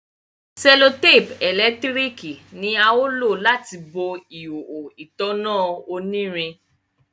sellotape elekitiriki ni a lo láti bó ihoho ìtanná onirin.